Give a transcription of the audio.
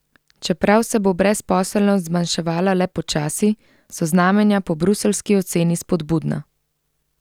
Čeprav se bo brezposelnost zmanjševala le počasi, so znamenja po bruseljski oceni spodbudna.